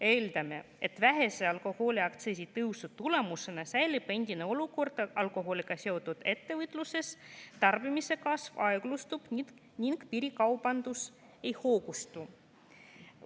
"Eeldame, et vähese alkoholiaktsiisi tõusu tulemusena säilib endine olukord alkoholiga seotud ettevõtluses, tarbimise kasv aeglustub ning piirikaubandus ei hoogustu.